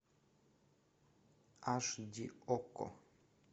аш ди окко